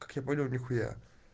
как я понял нихуя